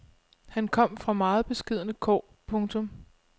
Han kom fra meget beskedne kår. punktum